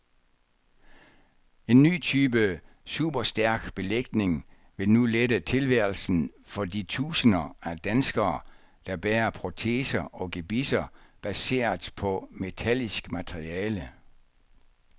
En ny type superstærk belægning vil nu lette tilværelsen for de tusinder af danskere, der bærer proteser og gebisser baseret på metallisk materiale.